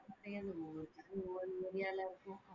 ஒவ்வொரு area ல இருக்கும்